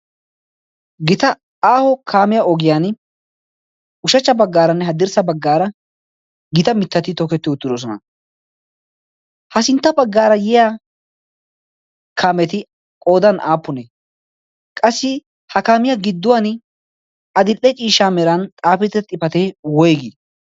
gita aahpo kaamiya ogiyan ushshachcha bagaaranne haddirssa bagaara gita mitati tokketi uttidosona. ha sintta bagaar diya kaametu qooday aapunee?